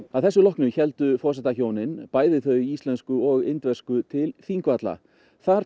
að þessu loknu héldu forsetahjónin bæði þau íslensku og indversku til Þingvalla þar